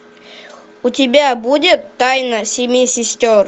у тебя будет тайна семи сестер